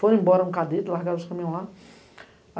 Foram embora no cadete, largaram os caminhões lá.